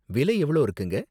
விலை எவ்ளோ இருக்குங்க?